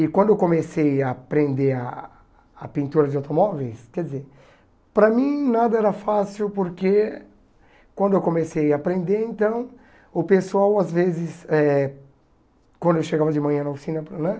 E quando eu comecei a aprender a pintura de automóveis, quer dizer, para mim nada era fácil porque quando eu comecei a aprender, então, o pessoal às vezes, eh quando eu chegava de manhã na oficina para, né?